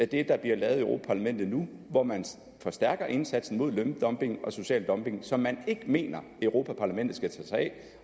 det der bliver lavet i europa parlamentet nu hvor man forstærker indsatsen mod løndumping og social dumping som man ikke mener at europa parlamentet skal tage sig af